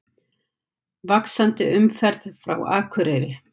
Vaxandi umferð frá Akureyri